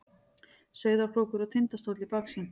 Sauðárkrókur og Tindastóll í baksýn.